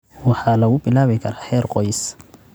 waxaa lagu bilaabi karaa heer qoys.